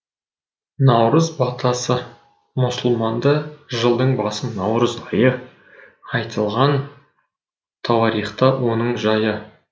наурыз батасы мұсылманда жылдың басы наурыз айы айтылған тауарихта оның жайы